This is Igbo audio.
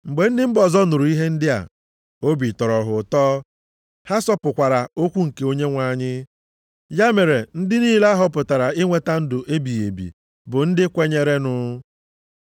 Mgbe ndị mba ọzọ nụrụ ihe ndị a, obi tọrọ ha ụtọ, ha sọpụkwara okwu nke Onyenwe anyị. Ya mere ndị niile a họpụtara inweta ndụ ebighị ebi bụ ndị kwenyerenụ.